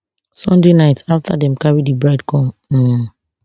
sunday night afta dem carry di bride come um